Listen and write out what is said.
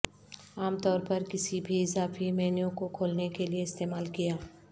عام طور پر کسی بھی اضافی مینو کو کھولنے کے لئے استعمال کیا